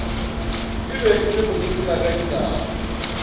e be e le mosepelakadinao